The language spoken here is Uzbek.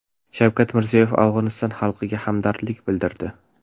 Shavkat Mirziyoyev Afg‘oniston xalqiga hamdardlik bildirdi.